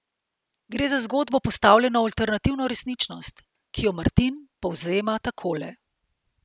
Gre za zgodbo, postavljeno v alternativno resničnost, ki jo Martin povzema takole.